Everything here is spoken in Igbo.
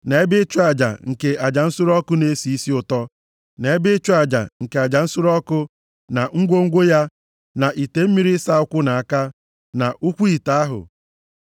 na ebe ịchụ aja nke aja nsure ọkụ na-esi isi ụtọ, na ebe ịchụ aja nke aja nsure ọkụ, na ngwongwo ya, na ite mmiri ịsa ụkwụ na aka, na ụkwụ ite ahụ.